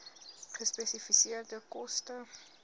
gespesifiseerde koste